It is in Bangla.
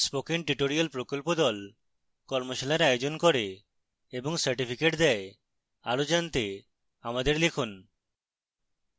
spoken tutorial প্রকল্প the কর্মশালার আয়োজন করে এবং certificates দেয় আরো জানতে আমাদের লিখুন